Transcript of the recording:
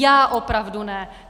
Já opravdu ne.